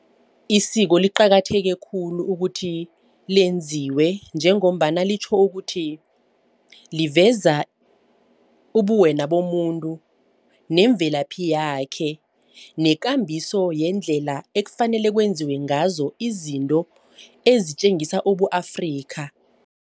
Isiko liqakatheke khulu ukuthi lenziwe. Njengombana litjho ukuthi liveza ubuwena bomuntu nemvelaphi yakhe nekambiso yendlela ekufanele kwenziwe ngazo izinto ezitjengisa ubu-Afrika.